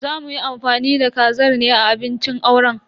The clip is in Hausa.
Za muyi amfani da kazar ne a abincin auren.